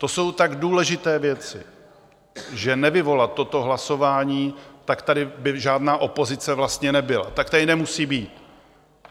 To jsou tak důležité věci, že nevyvolat toto hlasování, tak by tady žádná opozice vlastně nebyla, tak tady nemusí být.